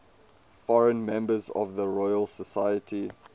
foreign members of the royal society